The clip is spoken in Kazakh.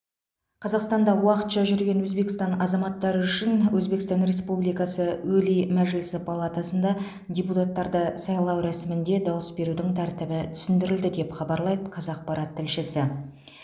қазақстанда уақытша жүрген өзбекстан азаматтары үшін өзбекстан республикасы өлий мәжілісі палатасына депутаттарды сайлау рәсімінде дауыс берудің тәртібі түсіндірілді деп хабарлайды қазақпарат тілшісі